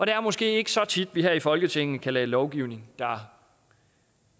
er måske ikke så tit at vi her i folketinget kan lave lovgivning der